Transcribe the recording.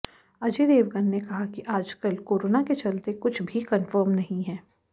अजय देवगन ने कहा कि आजकल कोरोना के चलते कुछ भी कंफर्म नहीं है